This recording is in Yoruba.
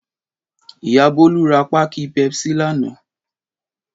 Ìyá Bólú ra páákì Pepsi lánàá.